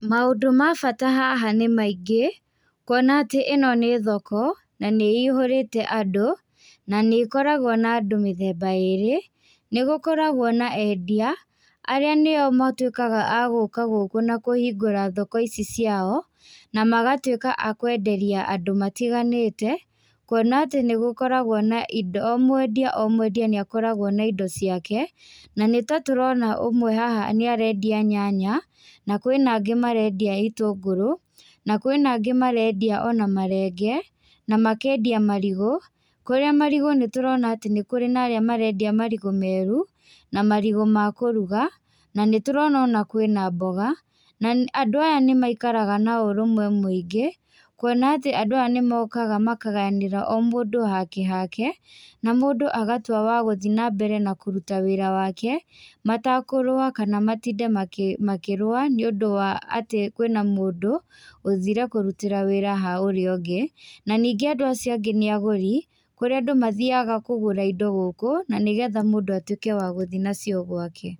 Maũndũ ma bata haha nĩ maingĩ, kuona atĩ ĩno nĩ thoko na nĩ ĩihũrĩte andũ na nĩ ĩkoragũo na andũ mĩthemba ĩrĩ. Nĩ gũkoragũo na endia arĩa nĩo matuĩkaga a gũka gũku na kũhingũra thoko ici ciao na magatiĩka a kwenderia andũ matiganĩte. Kuona atĩ nĩ gũkoragũo na indo o mwendia o mwendia nĩ akoragũo na indo ciake, na nĩtatũrona ũmwe haha nĩ arendia nyanya, na kwĩna angĩ marendia itũngũrũ, na kwĩna angĩ marendia ona marenge, na makendia marigũ, kũrĩa marigũ nĩ tũrona atĩ nĩ kũrĩ na arĩa marendia marigũ meru na marigũ ma kũruga, na nĩtũrona ona kwĩna mboga. Andũ aya nĩ maikaraga na ũũrũmwe mũingĩ, kuona atĩ andũ aya nĩ mokaga makagayanĩra o mũndũ hake hake na mũndũ agatua wa gũthiĩ nambere na kũruta wĩra wake, matakũrũa kana matinde makĩrũa nĩ ũndũ wa atĩ kwĩna mũndũ ũthire kũrutĩra wĩra ha ũrĩa ũngĩ, na ningĩ andũ acio angĩ nĩ agũri, kũrĩa andũ mathiaga kũgũra indo gũkũ, na nĩgetha mũndũ atuĩke wa gũthiĩ nacio gwake.